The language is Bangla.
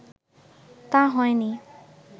তা হয়নি